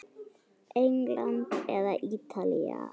England eða Ítalía?